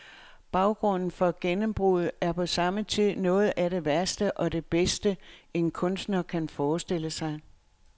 Baggrunden for gennembruddet er på samme tid noget af det værste og det bedste, en kunstner kan forestille sig.